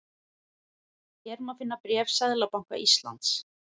Hér má finna bréf Seðlabanka Íslands